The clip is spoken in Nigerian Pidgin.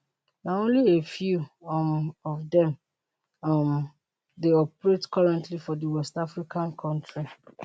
na only a few um of dem um dey operate currently for di west african kontri